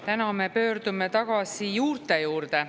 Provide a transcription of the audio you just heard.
Täna me pöördume tagasi juurte juurde.